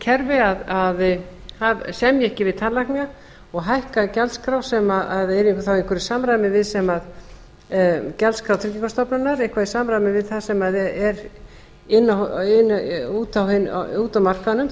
heilbrigðiskerfi að semja ekki við tannlækna og hækka gjaldskrá sem yrði þá í einhverju samræmi við það sem gjaldskrá tryggingastofnunar eitthvað í samræmi við það sem er úti á markaðnum